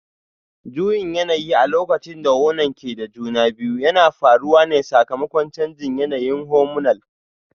Juyin yanayi a lokacin da wonan ke da juna biyu yana faruwa ne sakamakon canjin yanayin hormonal